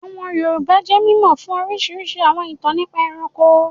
Àwọn Yorùbá jẹ́ mímọ̀ fún orísirísi àwọn ìtàn nípa ẹranko